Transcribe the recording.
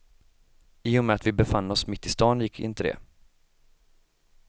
I och med att vi befann oss mitt i stan gick inte det.